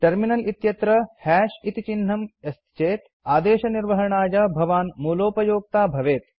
terminal इत्यत्र हश् इति चिह्नम् अस्ति चेत् आदेशनिर्वहणाय भवान् मूलोपयोक्ता भवेत्